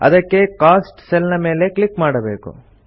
ಅದಕ್ಕೆ cost cell ಮೇಲೆ click ಮಾಡಬೇಕು